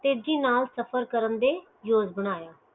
ਤੇਜੀ ਨਾਲ ਸਫ਼ਰ ਕਰਨ ਦੇ ਜੋਗ ਬਣਾਇਆ